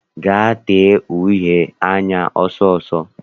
Gaa tee uhe anya ọsọ ọsọ!